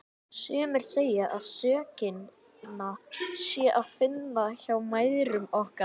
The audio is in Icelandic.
Sumir segja að sökina sé að finna hjá mæðrum okkar.